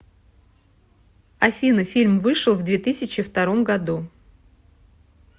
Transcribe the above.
афина фильм вышел в две тысячи втором году